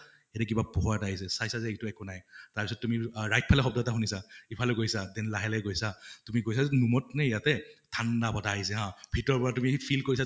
এইটো কিবা পোহৰ এটা আহিছে, চাইছা যে এইটো একো নাই । তাৰপিছত তুমি right ফালে শব্দ এটা শুনিছা, ইফালে গৈছা then লাহে লাহে গৈছা । তুমি গৈছা room ত নে ইয়াতে, ঠান্দা বতাহ আহিছে হা ? ভিতৰৰ পৰা তুমি feel কৰিছা